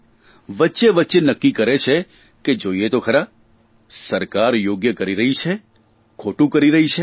વચ્ચે વચ્ચે નક્કી કરે છે કે જોઇએ તો ખરાં સરકાર યોગ્ય કરી રહી છે ખોટું કરી રહી છે